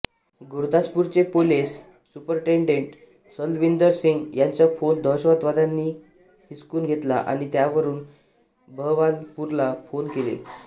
गुरदासपूरचे police superintendent Salwinder Singh यांचा phone दहशतवाद्यांनी हिसकून घेतला आणि त्यावरून बहवालपूरला फोन केले